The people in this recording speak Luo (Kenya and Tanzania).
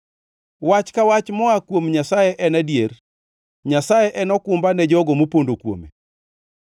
“Wach ka wach moa kuom Nyasaye en adier; Nyasaye en okumba ne jogo mopondo kuome.